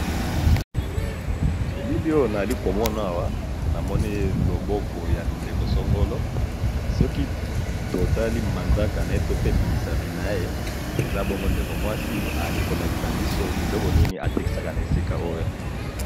eliliona ali komonawa namonei loboko ya ndekosongolo soki totali manzaka na ye to pe misapi na ye eza bongo ndeko mwasi ezali kolakisa biso biloko ninibatekisaka na esika oyo.